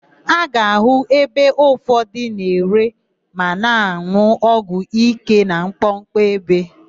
A ga-àhụ́ ebe ụfọdụ na-ere ma na-an̄ụ ọgwụ íké na mkpọkpọ ebe.